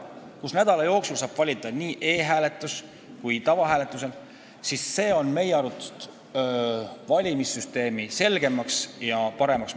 Kui nädala jooksul saab valida nii e-hääletuse kui tavahääletusega, siis see muudab meie arvates valimissüsteemi selgemaks ja paremaks.